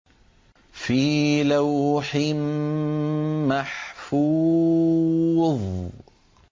فِي لَوْحٍ مَّحْفُوظٍ